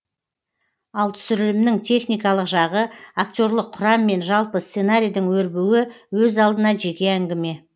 ал түсірілімнің техникалық жағы актерлық құрам мен жалпы сценарийдің өрбуі өз алдына жеке әңгіме